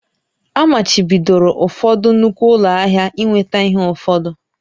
Amachibidoro ụfọdụ nnukwu ụlọ ahịa ị nweta ihe ụfọdụ